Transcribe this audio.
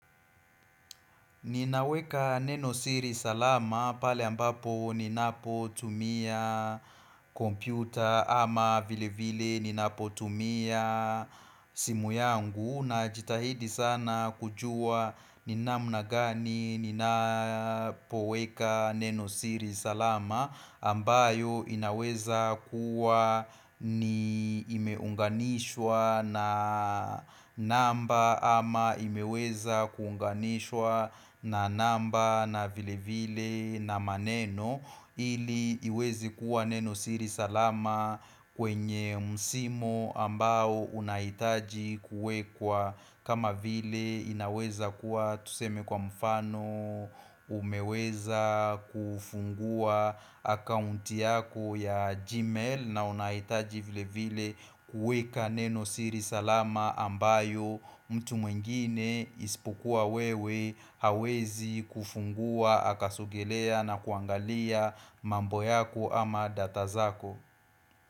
Ninaweka neno siri salama pale ambapo ninapo tumia kompyuta ama vile vile ninapo tumia simu yangu na jitahidi sana kujua ni namna gani ninapoweka neno siri salama ambayo inaweza kuwa ni imeunganishwa na namba ama imeweza kuunganishwa na namba na vile vile na maneno ili iwezi kuwa neno siri salama kwenye msimo ambao unahitaji kuwekwa kama vile inaweza kuwa tuseme kwa mfano umeweza kufungua akounti yako ya gmail na unaitaji vile vile kuweka neno siri salama ambayo mtu mwingine isipokua wewe hawezi kufungua akasogelea na kuangalia mambo yako ama data zako.